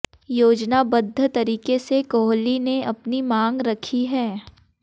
योजनाबद्ध तरीके से कोहली ने अपनी मांग रखी है